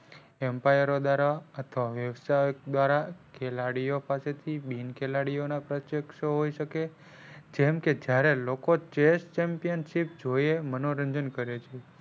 empire ઓ દ્વારા અથવા વ્યવસાયો દ્વારા ખેલાડીઓ પાસે થી બિન ખેલાડીઓ પાસે ના હોઈ શકે જેમ કે જયારે જોયે મનોરંજન કરે છે.